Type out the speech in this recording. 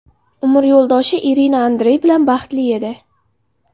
Umr yo‘ldoshi Irina Andrey bilan baxtli edi.